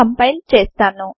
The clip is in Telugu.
కంపైల్ చేస్తాను